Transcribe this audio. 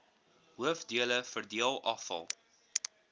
hoofdele verdeel afval